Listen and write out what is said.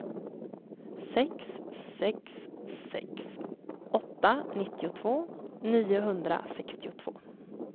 sex sex sex åtta nittiotvå niohundrasextiotvå